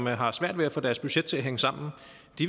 har svært ved at få deres budget til at hænge sammen